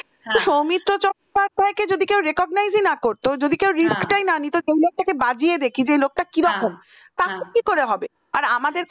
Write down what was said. সৌমিত্র চট্টোপাধ্যায় কে যদি কেউ recognize ই না করত যদি কেউ risk টাই না নিতো লোকটাকে বাজিয়ে দেখি যে ওই লোকটা কিরকম তাহলে কি করে হবে আর আমাদের ক্ষেত্রে